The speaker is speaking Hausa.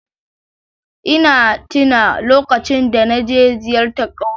E, na taɓa lokacin da na je ziyara ƙauye